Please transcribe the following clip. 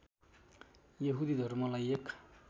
यहूदी धर्मलाई एक